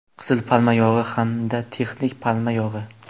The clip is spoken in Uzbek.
Qizil palma yog‘i hamda texnik palma yog‘i.